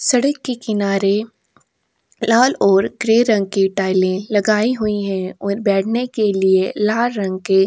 सड़क के किनारे लाल और ग्रे रंग की टाइलें लगाई हुई है और बैठने के लिए लाल रंग के --